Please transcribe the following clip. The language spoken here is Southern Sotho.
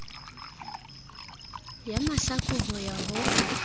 ya mahlaku ho ya ho